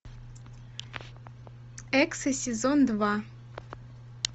эксы сезон два